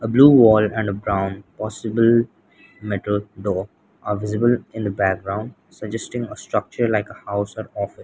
blue wall and a brown possible metal door are visible in the background suggesting a structure like a house or office.